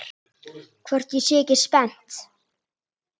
Hvort ég sé ekki spennt?